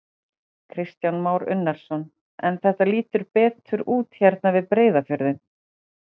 Kristján Már Unnarsson: En þetta lítur betur út hérna við Breiðafjörðinn?